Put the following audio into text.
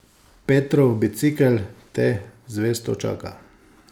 Petrov bicikel te zvesto čaka.